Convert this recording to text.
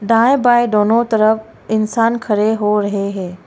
दाएं बायें दोनों तरफ इंसान खड़े हो रहे हैं।